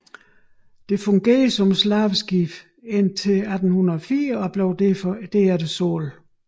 Det fungerede som slaveskib indtil 1804 og blev derefter solgt